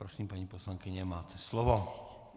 Prosím, paní poslankyně, máte slovo.